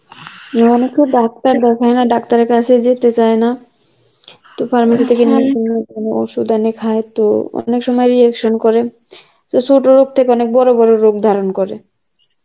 এখানে কেউ ডাক্তার দেখায় না ডাক্তার এর কাছে যেতে চায় না তো pharmacy থেকে ওষুধ এনে খায় তো অনেক সময় reaction করে, তো ছোট রোগ থেকে অনেক বড় বড় রোগ ধারণ করে